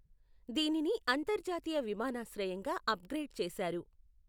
దీనిని అంతర్జాతీయ విమానాశ్రయంగా అప్గ్రేడ్ చేశారు.